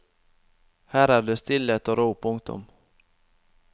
Her er det stillhet og ro. punktum